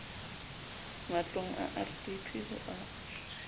matlong a rdp ho a